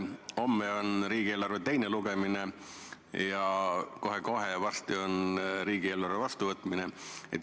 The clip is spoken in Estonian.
Homme on riigieelarve teine lugemine ja kohe-kohe on riigieelarve vastuvõtmine.